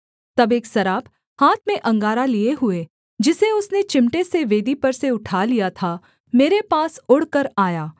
तब एक साराप हाथ में अंगारा लिए हुए जिसे उसने चिमटे से वेदी पर से उठा लिया था मेरे पास उड़कर आया